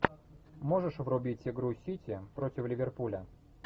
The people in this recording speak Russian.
можешь врубить игру сити против ливерпуля